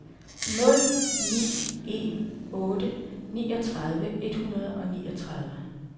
nul ni en otte niogtredive et hundrede og niogtredive